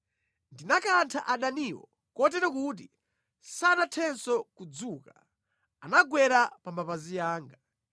Ndinakantha adaniwo kotero kuti sanathenso kudzuka; anagwera pa mapazi anga.